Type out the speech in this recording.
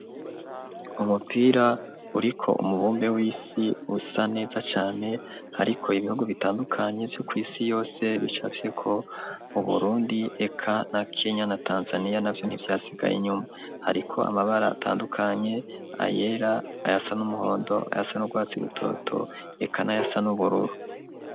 Umupira uriko umubumbe w'isi usa neza cane, hariko ibihugu bitandukanye vyo kw'isi yose bicafyeko Uburundi, eka na Kenya na Tanzaniya navyo ntivyasigaye inyuma. Hariko amabara atandukanye, ayera, ayasa n'umuhondo, ayasa n'urwatsi rutoto, eka n'ayasa n'ubururu.